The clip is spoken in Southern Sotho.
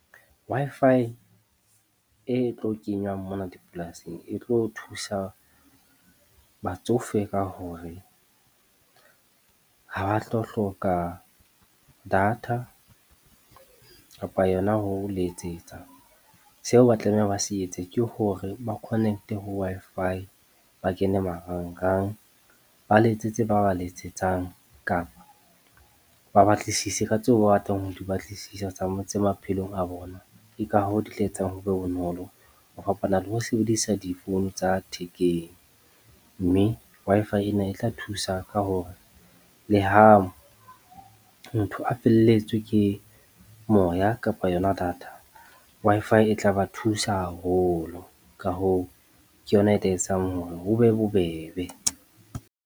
Wi-Fi e tlo kenywang mona dipolasing e tlo thusa batsofe ka hore ha ba tlo hloka data kapa yona ho letsetsa, seo ba tlamehang ba se etse ke hore ba connect-e ho Wi-Fi ba kene marangrang, ba letsetse ba ba letsetsang kapa ba batlisise ka tseo ba batlang ho di batlisisa tse maphelong a bona. Ke ka hoo di tla etsang ho be bonolo ho fapana le ho sebedisa difounu tsa thekeng mme Wi-Fi ena e tla thusa ka hore le ha motho a felletswe ke moya kapa yona data Wi-Fi e tla ba thusa haholo, ka hoo, ke yona e tla etsang hore ho be bobebe.